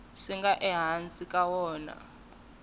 swi nga ehansi ka wona